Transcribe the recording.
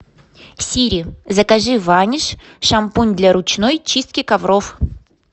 сири закажи ваниш шампунь для ручной чистки ковров